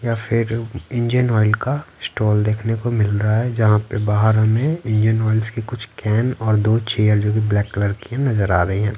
या फिर engine oil का स्टॉल देखने को मिल रहा है जहाँ पे बाहर हमें इंजन ऑयल्स के कुछ कैन और दो चेयर जोकि ब्लैक कलर की नजर आ रही हैं।